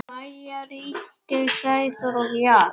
Maja, Ríkey, Sæþór og Jara.